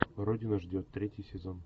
родина ждет третий сезон